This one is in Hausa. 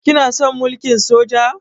Kana son mulkin Soja?